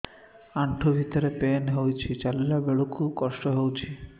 ଆଣ୍ଠୁ ଭିତରେ ପେନ୍ ହଉଚି ଚାଲିଲା ବେଳକୁ କଷ୍ଟ ହଉଚି